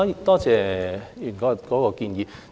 多謝吳議員的建議。